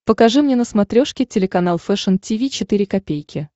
покажи мне на смотрешке телеканал фэшн ти ви четыре ка